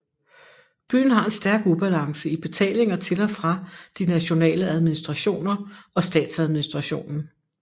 Byen har en stærk ubalance i betalinger til og fra de nationale administrationer og statsadministrationen